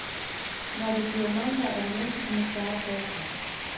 Når det bliver mandag, er det næsten som at starte forfra.